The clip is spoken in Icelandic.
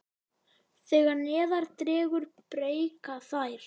Þegar neðar dregur breikka þær.